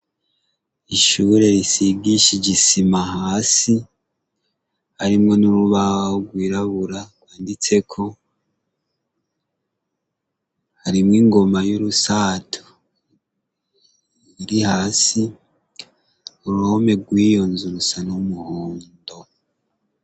Ishuri isigishije isima hasi, harimwo n'urubaho rwirabura, rwanditseko. Harimwo ingoma y'urusato iri hasi. Uruhome rw'iyo nzu rusa n'umuhondo